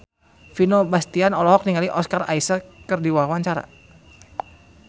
Vino Bastian olohok ningali Oscar Isaac keur diwawancara